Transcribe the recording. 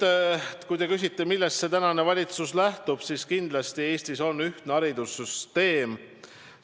Kui te küsite, millest tänane valitsus lähtub, siis kindlasti Eestis on ühtne haridussüsteem.